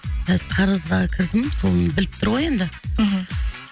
біраз қарызға кірдім соны біліп тұр ғой енді мхм